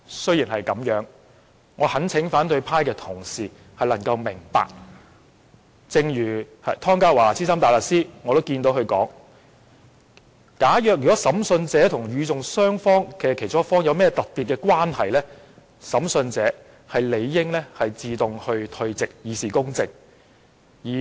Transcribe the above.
然而，我懇請反對派同事明白，正如湯家驊資深大律師所說，"假若審訊者與訴訟雙方之其中一方有特別關係，審訊者理應自動退席，以示公正。